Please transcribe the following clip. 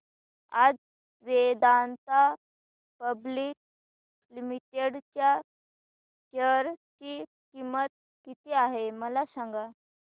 आज Vedanta public limited च्या share ची किंमत किती आहे मला सांगा